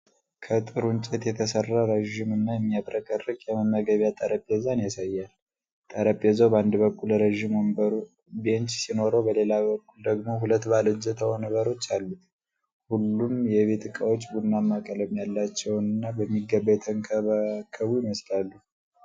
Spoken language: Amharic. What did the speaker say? ከጥሩ እንጨት የተሰራ ረዥም እና የሚያብረቀርቅ የመመገቢያ ጠረጴዛን ያሳያል። ጠረጴዛው በአንድ በኩል ረዥም ወንበር (ቤንች) ሲኖረው፤ በሌላ በኩል ደግሞ ሁለት ባለእጀታ ወንበሮች አሉት። ሁሉም የቤት እቃዎች ቡናማ ቀለም ያላቸውና በሚገባ የተንከባከቡ ይመስላሉ።